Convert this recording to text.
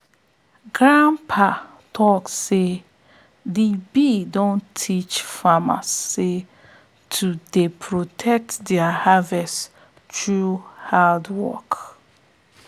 grandpa talk say de bee don teach farmers sey to dey protect their harvest through hardwork